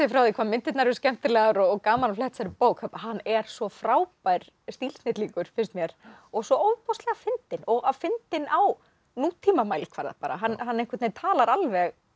frá því hvað myndirnar eru skemmtilegar og gaman að fletta þessari bók hann er svo frábær stílsnillingur finnst mér og svo ofboðslega fyndinn og fyndinn á nútímamælikvarða hann einhvern veginn talar alveg